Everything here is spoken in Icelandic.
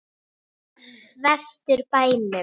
Vestur bænum.